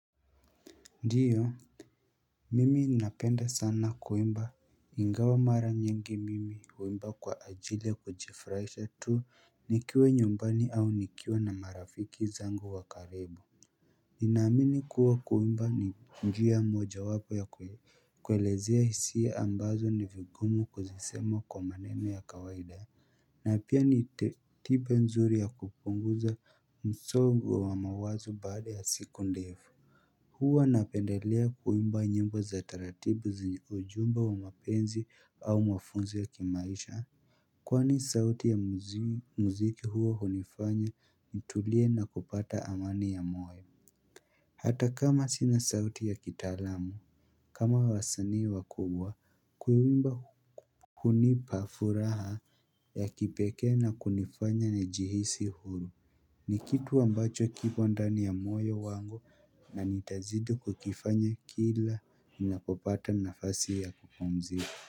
Ndiyo. Mimi napenda sana kuwimba. Ingawa mara nyingi mimi huwimba kwa ajili ya kujifraisha tu nikiwe nyumbani au nikiwe na marafiki zangu wa karibu. Ninaamini kuwa kuwimba ni njia mojawapo ya kwelezea hisiya ambazo ni vigumu kuzisema kwa maneno ya kawaida ya na pia nitibe nzuri ya kupunguza msogo wa mawazo baada ya siku ndefu. Huwa napendelea kuwimba nyimbo za taratibu zenye ujumbe wa mapenzi au mafunzo ya kimaisha. Kwani sauti ya muziki huwa hunifanya nitulie na kupata amani ya moyo. Hata kama sina sauti ya kitalamu. Kama waasani wa kubwa. Kuwimba hunipa furaha ya kipeke na kunifanya ni jihisi huru. Ni kitu ambacho kipo ndani ya moyo wangu na nitazidi kukifanya kila minakopata nafasi ya kupumzika.